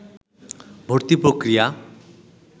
ভর্তি পক্রিয়া